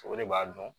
O de b'a dɔn